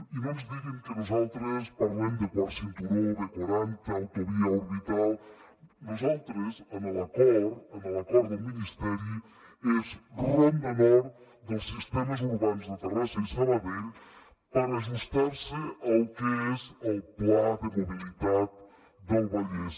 i no ens diguin que nosaltres parlem de quart cinturó b quaranta autovia orbital nosaltres en l’acord en l’acord del ministeri és ronda nord dels sistemes urbans de terrassa i sabadell per ajustar se al que és el pla de mobilitat del vallès